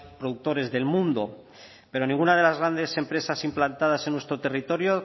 productores del mundo pero ninguna de las grandes empresas implantadas en nuestro territorio